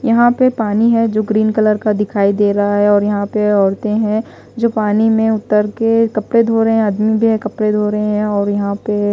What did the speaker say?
यहां पे पानी है जो ग्रीन कलर का दिखाई दे रहा है और यहां पर औरतें हैं जो पानी में उतर के कपड़े धो रहे हैं आदमी भी है कपड़े धो रहे हैं और यहां पे--